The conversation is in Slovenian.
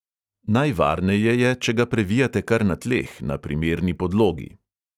Najvarneje je, če ga previjate kar na tleh, na primerni podlogi.